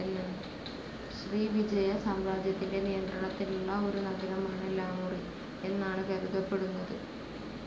ശ്രീവിജയ സാമ്രാജ്യത്തിന്റെ നിയന്ത്രണത്തിലുള്ള ഒരു നഗരമാണ് ലാമുറി എന്നാണ് കരുതപ്പെടുന്നത്.